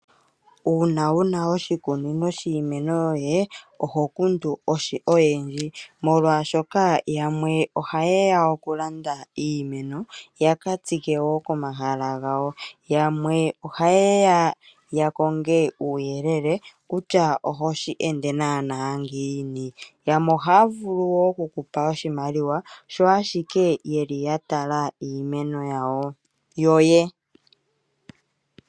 Uuna wuna oshikunino shiimeno yoye oho kundu oyendji, molwashoka yamwe oha yeya oku landa iimeno yaka tsike wo ko mahala gawo. Yamwe oha yeya ya konge uuyelele kutya oho shi ende naana ngiini, ohaya vulu wo oku kupa oshimaliwa sho ashike ya tala iimeno yoye.